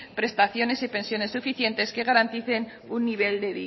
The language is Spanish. prestaciones y pensiones suficientes que garanticen un nivel